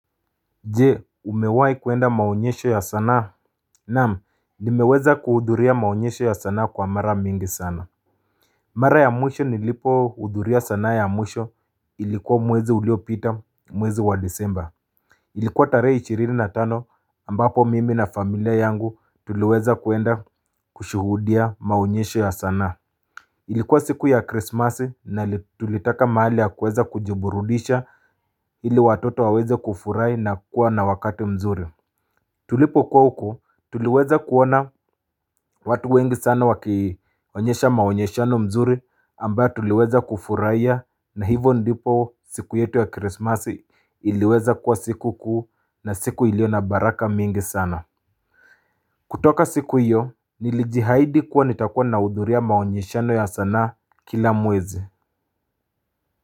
Jee umewahi kuenda maonyesho ya sanaa Naam nimeweza kuhudhuria maonyesho ya sanaa kwa mara mingi sana Mara ya mwisho nilipo hudhuria sanaa ya mwisho ilikuwa mwezi uliopita mwezi wa disemba Ilikuwa tarehe ishirini na tano ambapo mimi na familia yangu tuliweza kuenda kushuhudia maonyesho ya sanaa Ilikuwa siku ya krismasi na tulitaka mahali ya kuweza kujiburudisha ili watoto waweze kufurahi na kuwa na wakati mzuri tulipokuwa huku, tuliweza kuona watu wengi sana wakionyesha maonyeshano mzuri ambayo tuliweza kufurahia na hivyo ndipo siku yetu ya krismasi iliweza kuwa siku kuu na siku iliyo na baraka mingi sana. Kutoka siku hiyo, nilijiahidi kuwa nitakuwa nahudhuria maonyeshano ya sanaa kila mwezi.